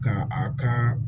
Ka a ka